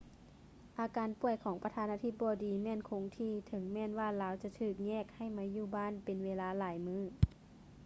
ອາການປ່ວຍຂອງປະທານາທິບໍດີແມ່ນຄົງທີ່ ເຖິງແມ່ນວ່າລາວຈະຖືກແຍກໃຫ້ມາຢູ່ບ້ານເປັນເວລາຫຼາຍມື້